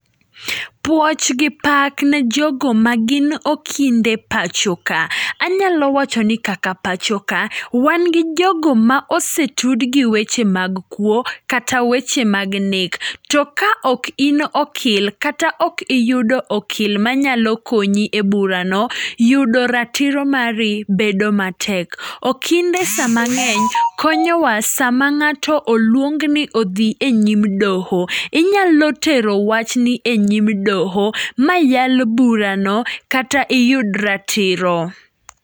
Pwoch gi pak ne jogo ma gin okinde pacho ka. Anyalo wacho ni kaka pacho ka, wan gi jogo ma osetud gi weche mag kuo kata weche mag nek, to ka ok in okil kata ok iyudo okil manyalo konyi e burano, yudo ratiro mari bedo matek. Okinde sa mang'eny konyowa sama ng'ato oluongni mondo odhi e yim dhoho. Inyalo tero wachni e nyim doho, ma yal burano kata iyud ratiro.